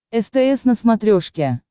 стс на смотрешке